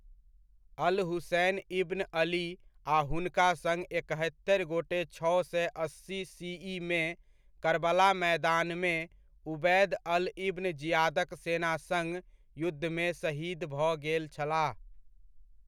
अल Hussein ibn Ali आ हुनका सङ्ग एकहत्तरि गोटे छओ सए अस्सी सी.इ.मे करबला मैदानमे उबैद अल्ल इब्न जियादक सेना सङ्ग युद्धमे शहीद भऽ गेल छलाह।